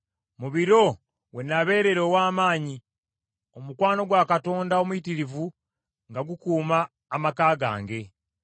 Mu biro we nabeerera ow’amaanyi, omukwano gwa Katonda omuyitirivu nga gukuuma amaka gange,